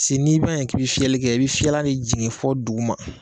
n'i ma ɲɛ k'i bɛfiyɛli kɛ i bɛ fiyɛlikɛlan de jigin fo duguma